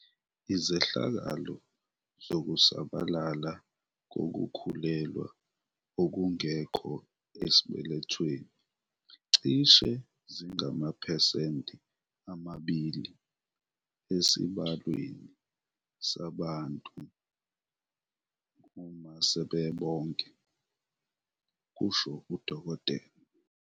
"Izehlakalo zokusabalala kokukhulelwa okungekho esibelethweni cishe zingamaphesenti amabili esibalweni sabantu uma sebebonke," kusho uDkt.